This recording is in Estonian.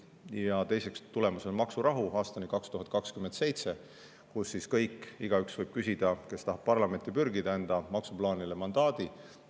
Ja teiseks, tulemas on maksurahu aastani 2027, kus igaüks, kes tahab parlamenti pürgida, võib küsida enda maksuplaanile mandaadi.